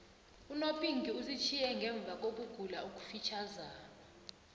unopinki usitjhiye ngemvakokugula okufitjhazana